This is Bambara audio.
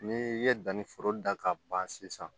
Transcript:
N'i ye danniforo da ka ban sisan